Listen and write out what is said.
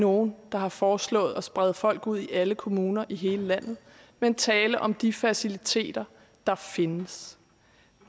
nogen der har foreslået at sprede folk ud i alle kommuner i hele landet men tale om de faciliteter der findes